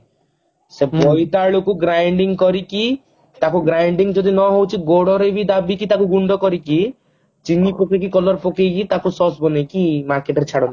ଭି ସେ ବୋଇତାଳୁ କୁ grinding କରିକି ତାକୁ grinding ଯଦି ନ ହଉଛି ଗୋଡରେ ବି ଦାବି କି ତାକୁ ଗୁଣ୍ଡ କରିକି ଚିନି ପକେଇକି color ପକେଇକି ତାକୁ Sause ବନେଇକି market ରେ ଛାଡନ୍ତି